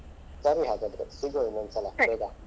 ಸರಿ ಹಾಗದ್ರೆ ಸಿಗುವ ಇನ್ನೊಂದ್ಸಲ ಆಯ್ತಾ.